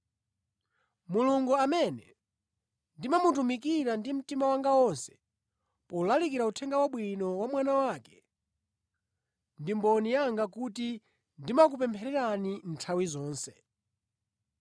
Mulungu amene ndimamutumikira ndi mtima wanga onse polalikira Uthenga Wabwino wa Mwana wake, ndi mboni yanga kuti ndimakupemphererani nthawi zonse.